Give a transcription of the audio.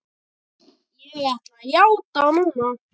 Ég ætla að játa núna.